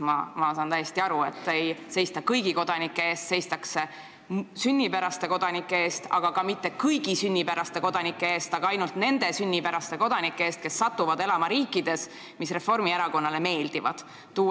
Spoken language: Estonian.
Ma saan täiesti aru, et ei seista kõigi kodanike eest, seistakse sünnijärgsete kodanike eest, aga mitte kõigi sünnijärgsete kodanike eest, vaid ainult nende eest, kes satuvad elama riikides, mis Reformierakonnale meeldivad.